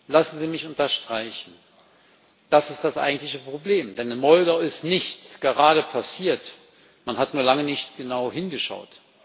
Lassen Sie mich unterstreichen Das ist das eigentliche Problem, denn in Moldau ist nichts gerade erst passiert, man hat nur lange nicht genau hingeschaut.